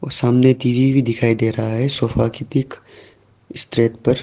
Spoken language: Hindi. सामने टी_वी भी दिखाई दे रहा है सोफा के ठीक स्ट्रेट पर।